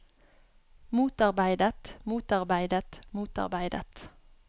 motarbeidet motarbeidet motarbeidet